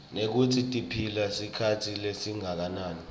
nekutsi tiphila sikhatsi lesinganani